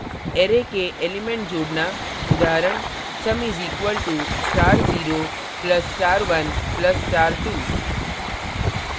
array के elements जोड़ना उदाहरण sum is equal to star 0 plus star 1 plus star 2